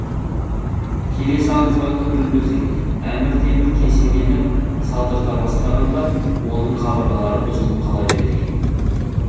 келесі аңызға қөңіл бөлсек әмір темір кесенені салдырта бастағанда оның қабырғалары бұзылып қала береді екен